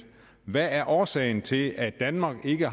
hvad er årsagen til at danmark ikke